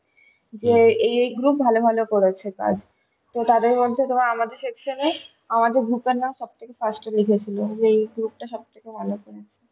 যে এই এই group ভালো ভালো করেছে কাজ তো তাদের মধ্যে আমাদের section এ আমাদের group এর নাম সব থেকে first এ লিখেছিল যে এই group টা সবথেকে ভালো করেছে